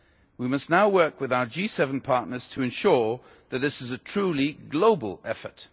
We must now work with our G7 partners to ensure that this is a truly global effort.